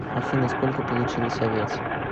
афина сколько получилось овец